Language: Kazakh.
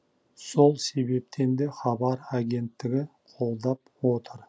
сол себептен де хабар агенттігі қолдап отыр